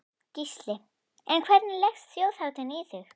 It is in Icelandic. Gísli: En hvernig leggst Þjóðhátíðin í þig?